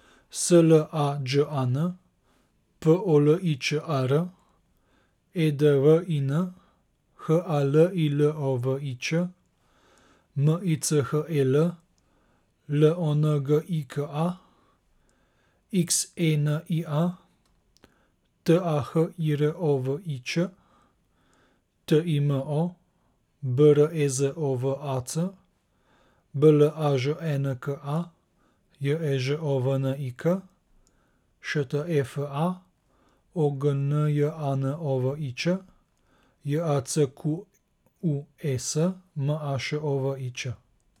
S L A Đ A N, P O L I Č A R; E D V I N, H A L I L O V I Č; M I C H E L, L O N G I K A; X E N I A, T A H I R O V I Ć; T I M O, B R E Z O V A C; B L A Ž E N K A, J E Ž O V N I K; Š T E F A, O G N J A N O V I Ć; J A C Q U E S, M A Š O V I Ć.